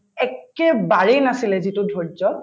একেবাৰেই নাছিলে যিটো ধৈৰ্য্য